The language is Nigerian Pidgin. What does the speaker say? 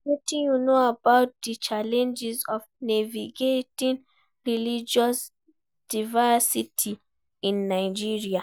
Wetin you know about di challenges of navigating religious diversity in Nigeria?